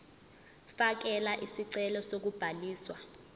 fakela isicelo sokubhaliswa